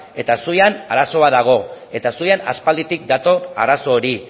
eta zuian arazo bat dago eta zuian aspalditik dator arazo hori